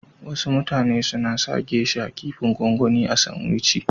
Wasu mutane suna sa "geisha " kipin gwangwani a sanwici.